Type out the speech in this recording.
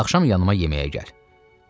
Axşam yanıma yeməyə gəl.